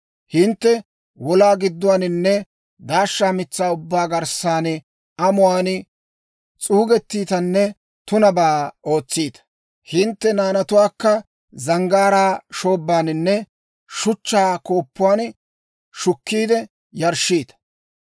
Hintte wolaa gidduwaaninne daashsha mitsaa ubbaa garssan amuwaan s'uugettiitanne tunabaa ootsiita; hintte naanatuwaakka zanggaaraa shoobbaaninne shuchchaa kooppuwan shukkiide yarshshiita.